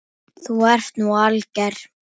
Þú ert nú alger!